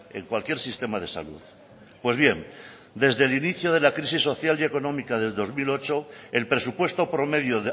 en cualquier sistema de salud pues bien desde el inicio de la crisis social y económica del dos mil ocho el presupuesto promedio